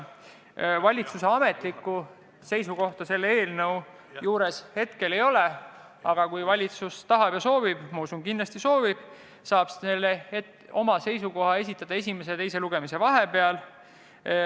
Valitsuse ametlikku seisukohta selle eelnõu juurde hetkel lisatud ei ole, aga kui valitsus tahab ja soovib – ma usun, et kindlasti soovib –, saab ta oma seisukoha esitada esimese ja teise lugemise vahepeal.